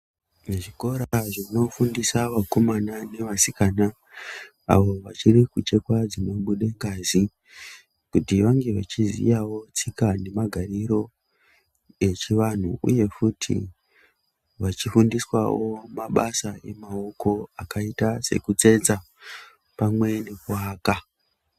Zvikora zvinofundisa vakomana nevasikana avo vachiri kuchekwa dzinobude ngazi, kuti vange vechiziyawo tsika nemagariro echianhu uye futi vachifundiswawo mabasa emaoko akaita sekutsetsa pamwe nekuaka.